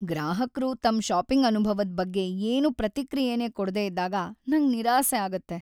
ಗ್ರಾಹಕ್ರು ತಮ್ ಷಾಪಿಂಗ್ ಅನುಭವದ್ ಬಗ್ಗೆ ಏನೂ ಪ್ರತಿಕ್ರಿಯೆನೇ ಕೊಡ್ದೇ ಇದ್ದಾಗ ನಂಗ್ ನಿರಾಸೆ ಆಗುತ್ತೆ.